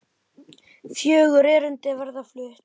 Fjögur erindi verða flutt.